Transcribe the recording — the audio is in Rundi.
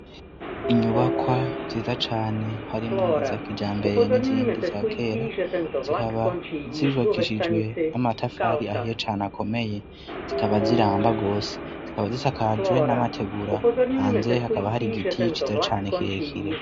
inyubakwa nziza cane harimwo iza kijambere n'izindi za kera, zikaba zubakishijwe n'amatafari ahiye cane akomeye zikaba ziramba gose, zikaba zisakajwe n'amategura. Hanze hakaba hari giti ciza cane kire kire.